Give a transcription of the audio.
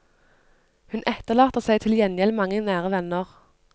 Hun etterlater seg til gjengjeld mange nære venner.